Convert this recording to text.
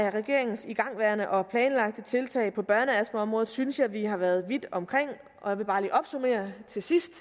af regeringens igangværende og planlagte tiltag på børneastmaområdet synes jeg vi har været vidt omkring og jeg vil bare til sidst